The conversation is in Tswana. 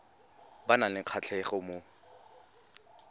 ba nang le kgatlhego mo